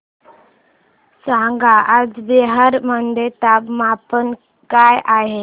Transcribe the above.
सांगा आज बिहार मध्ये तापमान काय आहे